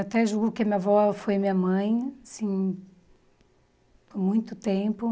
Até julgo que minha avó foi minha mãe, assim, por muito tempo.